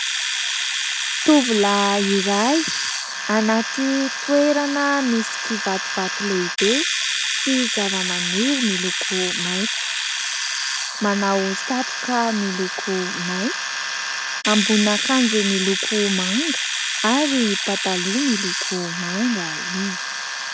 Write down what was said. Tovolahy iray anaty toerana misy kivatovato lehibe sy zavamaniry miloko maitso, manao satroka miloko maitso amboninan'akanjo miloko manga ary pataloha miloko manga izy.